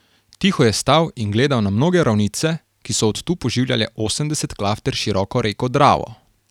Tiho je stal in gledal na mnoge ravnice, ki so od tu poživljale osemdeset klafter široko reko Dravo.